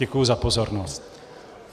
Děkuji za pozornost.